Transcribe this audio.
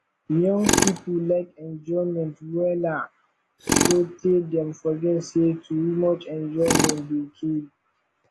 young pipo lyk enjoyment wella sotay dem forget sey too much enjoyment dey kill